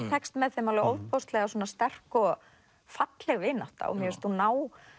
tekst með þeim ofboðslega sterk og falleg vinátta og mér finnst hún ná